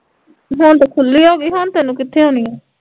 ਹੁਣ ਤੇ ਖੁੱਲੀ ਹੋਗੀ ਹੁਣ ਤੈਨੂੰ ਕਿੱਥੇ ਆਉਣੀ ਆ